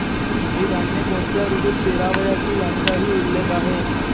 ही धान्ये कोणत्या ऋतूत पेरावयाची यांचाही उल्लेख आहे